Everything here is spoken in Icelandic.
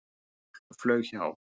Fugl flaug hjá.